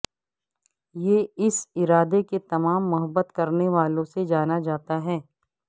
یہ اس ادارے کے تمام محبت کرنے والوں سے جانا جاتا ہے